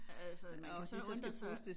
Altså man kan så undre sig